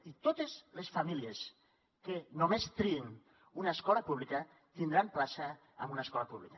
i totes les famílies que només triïn una escola pública tindran plaça en una escola pública